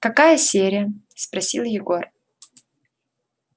какая серия спросил егор